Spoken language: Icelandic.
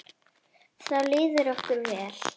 Þá líður okkur vel.